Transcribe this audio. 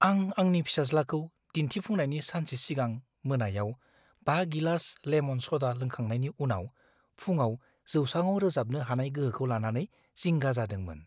आं आंनि फिसाज्लाखौ दिन्थिफुंनायनि सानसे सिगां मोनायाव 5 गिलास लेमन स'डा लोंखांनायनि उनाव फुंआव जौसाङाव रोजाबनो हानाय गोहोखौ लानानै जिंगा जादोंमोन।